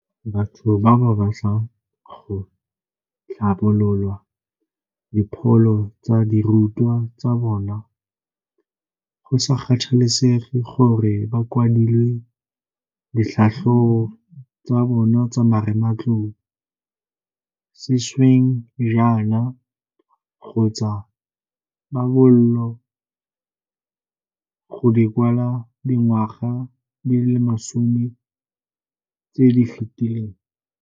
Batho ba ba batlang go tlhabolola dipholo tsa dirutwa tsa bona, go sa kgathalesege gore ba kwadile ditlhatlhobo tsa bona tsa marematlou sešweng jaana kgotsa ga ba boolo go di kwala dingwaga di le masome tse di fetileng.